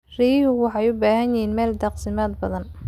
Riyuhu waxay u baahan yihiin meelo daaqsimeed badan.